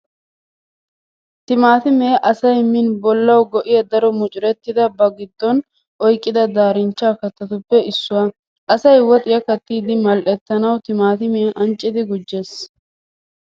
Timaatimee asay min bollawu go'iya daro mucurettidabaa ba giddon oyqqida daarinchcha kattatuppe issuwaa. Asay woxiyaa kattiiddi mal'ettanawu timaatimiyaa anccidi gujjees.